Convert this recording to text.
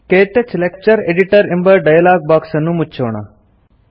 ಕ್ಟಚ್ lecture editor ಎಂಬ dialog box ಅನ್ನು ಮುಚ್ಚೋಣ